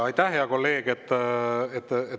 Aitäh, hea kolleeg!